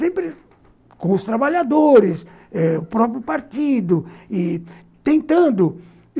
Sempre com os trabalhadores eh, o próprio partido e tentando.